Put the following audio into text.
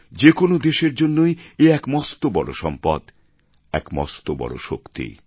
যে কোনো দেশের জন্যই এ এক মস্ত বড় সম্পদ এক মস্ত বড় শক্তি